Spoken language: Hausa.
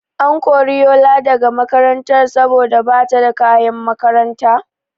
An kori Yola daga makaranta saboda bata da kayan makaranta?